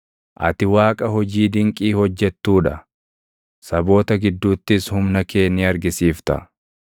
Ati Waaqa hojii dinqii hojjettuu dha; saboota gidduuttis humna kee ni argisiifta.